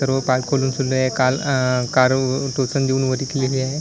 सर्व पाय खोलून सुद्धा काल कार टोचन देऊन विकलेली आहे.